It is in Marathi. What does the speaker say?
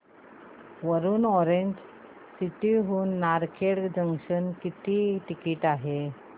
वरुड ऑरेंज सिटी हून नारखेड जंक्शन किती टिकिट आहे